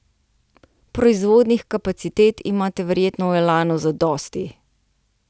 Proizvodnih kapacitet imate verjetno v Elanu zadosti ...